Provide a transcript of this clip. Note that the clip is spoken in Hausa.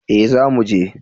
Eh za mu je